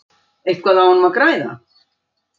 Eitthvað á honum að græða?